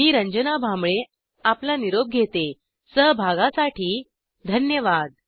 मी रंजना भांबळे आपला निरोप घेते सहभागासाठी धन्यवाद